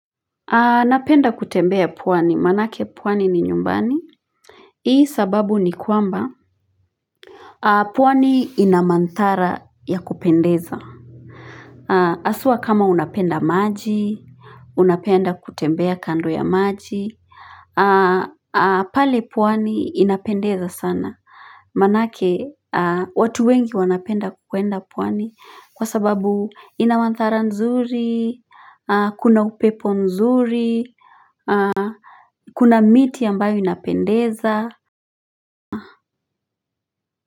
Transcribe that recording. Napenda kutembea pwani manake pwani ni nyumbani Hii sababu ni kwamba pwani ina manthara ya kupendeza haswa kama unapenda maji Unapenda kutembea kando ya maji pale pwani inapendeza sana manake watu wengi wanapenda kwenda pwani kwa sababu ina mandhara nzuri kuna upepo nzuri kuna miti ambayo inapendeza.